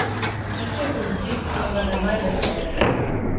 Išče princip, a ga ne najde vselej.